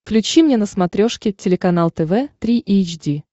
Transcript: включи мне на смотрешке телеканал тв три эйч ди